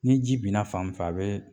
Ni ji binna fan min fɛ a bɛ